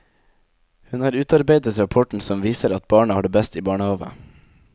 Hun har utarbeidet rapporten som viser at barna har det best i barnehave.